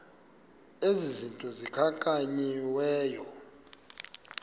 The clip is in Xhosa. ezi zinto zikhankanyiweyo